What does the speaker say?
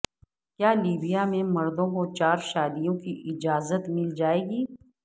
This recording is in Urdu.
کیا لیبیا میں مردوں کو چارشادیوں کی اجازت مل جائے گی